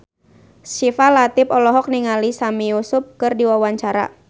Syifa Latief olohok ningali Sami Yusuf keur diwawancara